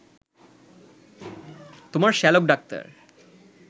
তোমার শ্যালক ডাক্তার